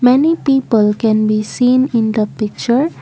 many people can be seen in the picture.